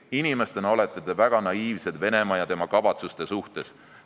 Inimestena olete te väga naiivsed Venemaa ja tema kavatsuste suhtes.